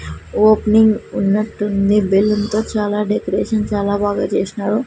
Opening ఉన్నట్టుంది బెలూన్తో చాలా డెకరేషన్ చాలా బాగా చేస్నారు.